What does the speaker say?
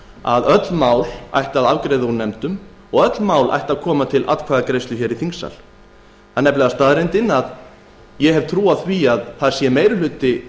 að öll mál ætti að afgreiða úr nefndum og öll mál ættu að koma til atkvæðagreiðslu hér í þingsal ég hef trú á að meiri hluti